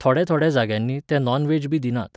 थोड्या थोड्या जाग्यांनीं ते नॉन व्हॅज बी दिनात.